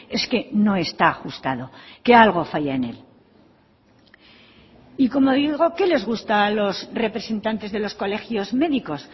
es que no está ajustado que algo falla en él y como digo qué les gusta a los representantes de los colegios médicos